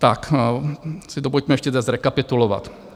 Tak si to pojďme ještě zrekapitulovat.